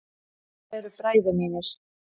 Þetta eru bræður mínir.